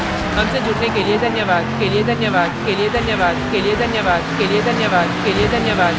I I T Bombay से मैं यश वोरा आपसे विदा लेता हूँ हमसे जुड़ने के लिए धन्यवाद